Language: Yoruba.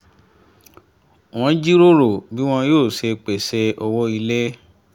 wọ́n jíròrò bí wọ́n yóò ṣe pèsè owó ilé